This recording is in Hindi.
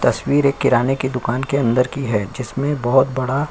तस्वीर एक किराने के दुकान के अंदर की है जिसमें बहुत बड़ा --